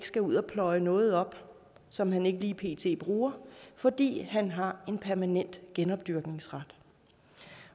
skal ud at pløje noget op som han ikke lige pt bruger fordi han har en permanent genopdyrkningsret